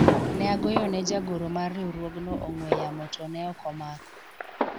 ne agoyone jagoro mar riwruogno ong'we yamo to ne ok omako